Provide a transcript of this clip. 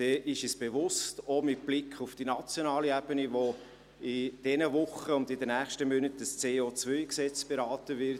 Dies ist uns auch mit Blick auf die nationale Ebene bewusst, wo in diesen Wochen und den nächsten Monaten das CO-Gesetz beraten wird.